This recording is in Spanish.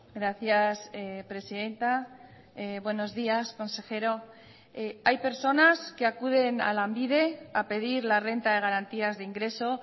gracias presidenta buenos días consejero hay personas que acuden a lanbide a pedir la renta de garantías de ingreso